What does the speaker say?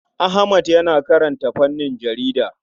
Ahmad yana karanta fannin jarida.